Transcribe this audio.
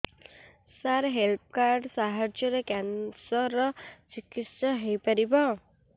ସାର health card ସାହାଯ୍ୟରେ cancer ର ଚିକିତ୍ସା ହେଇପାରିବ